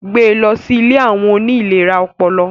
Gbẹ lọ si ìlé awọn oni ìléra ọpọlọ